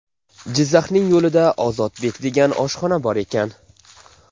Jizzaxning yo‘lida ‘Ozodbek’ degan oshxona bor ekan.